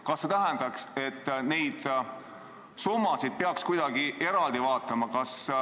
Kas see tähendab, et neid summasid peaks kuidagi eraldi vaatama?